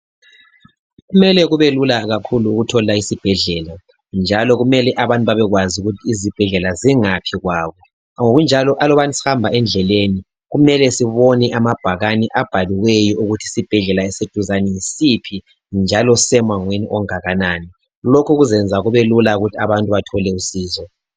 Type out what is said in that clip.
Kumele kubelula kakhulu ukuthola isibhedlela njalo kumele abantu babekwazI ukuthi isibhedlela singaphi kwabo ngokunjalo alubana sihamba endleleni kumele sibone amabhakani abhaliweyo ukuthi esiseduzani yisiphi njalo sisemangweni ongakanani lokhu kuzayenza kubelula ukuthi abantu bathole usizo